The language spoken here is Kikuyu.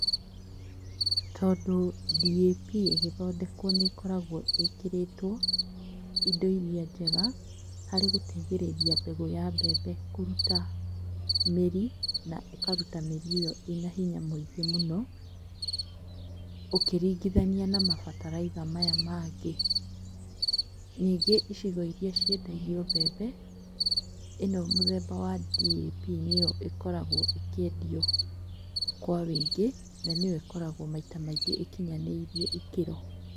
Tondũ DAP ĩgĩthondekwo nĩĩkoragwo ĩkĩrĩtwo indo iria njega harĩ gũteithĩrĩria mbegũ ya mbembe kũruta mĩri na ĩkaruta mĩri ĩo ĩna hinya mũingĩ mũno ũkĩringithania na mabataraitha maya mangĩ. Nyingo icigo iria ciendagio mbembe ĩno mũthemba wa DAP nĩyo ĩkoragwo ĩkĩendio kwa wĩingĩ nanĩyo ĩkoragwo maita maingĩ ĩkĩnyanĩirie ikĩro.